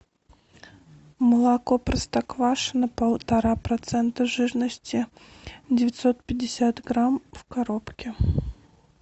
молоко простоквашино полтора процента жирности девятьсот пятьдесят грамм в коробке